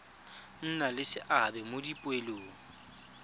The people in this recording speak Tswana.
nna le seabe mo dipoelong